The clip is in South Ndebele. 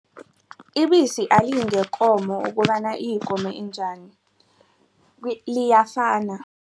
Ibisi aliyingekomo okobana iyikomo enjani liyafana.